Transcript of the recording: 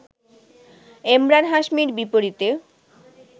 এমরান হাশমির বিপরীতে